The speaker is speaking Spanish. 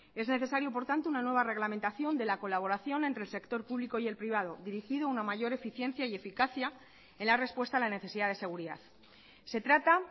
es necesario por tanto una nueva reglamentación de la colaboración entre el sector público y el privado dirigido a una mayor eficiencia y eficacia en la respuesta a la necesidad de seguridad se trata